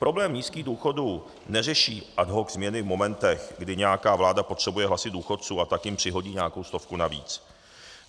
Problém nízkých důchodů neřeší ad hoc změny v momentech, kdy nějaká vláda potřebuje hlasy důchodců, a tak jim přihodí nějakou stovku navíc.